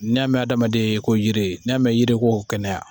N'i y'a mɛn adamaden ko yiri n'a mɛn yiri ko kɛnɛya